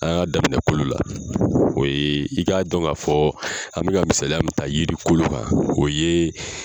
An ka daminɛ kolo la o ye i k'a dɔn ka fɔ an bɛ ka misaliya min taa yiri kolo kan o ye